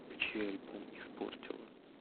включи альбом испортила